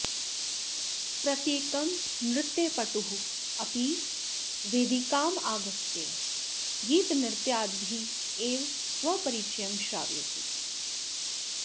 प्रत्येकं नृत्यपटुः अपि वेदिकामागत्य गीतनृत्यादिभिः एव स्वपरिचयं श्रावयति